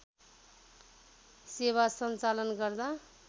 सेवा सञ्चालन गर्दा